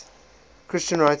christian writers